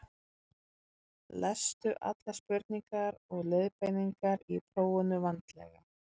lestu allar spurningar og leiðbeiningar í prófinu vandlega